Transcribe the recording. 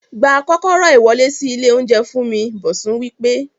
Gba kókóró iwọle si ile ounjẹ fún mi! Bosun wí pé